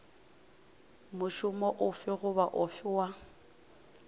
mošomo ofe goba ofe wa